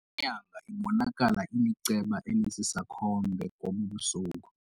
Inyanga ibonakala iliceba elisisakhombe ngobu busuku.